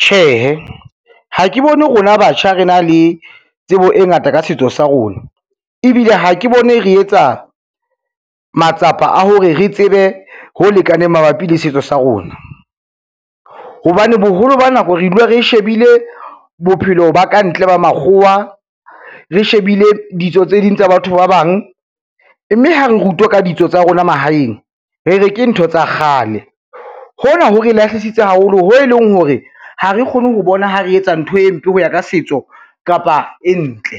Tjhehe, ha ke bone rona batjha re na le tsebo e ngata ka setso sa rona, ebile ha ke bone re etsa matsapa a hore re tsebe ho lekaneng mabapi le setso sa rona, hobane boholo ba nako re dula re shebile bophelo ba kantle ba makgowa, re shebile ditso tse ding tsa batho ba bang, mme ha re rutwa ka ditso tsa rona mahaeng, re re ke ntho tsa kgale. Hona ho re lahlisitse haholo ho e leng hore ha re kgone ho bona ha re etsa ntho e mpe ho ya ka setso kapa e ntle,